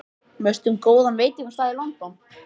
Veistu um góðan veitingastað í London?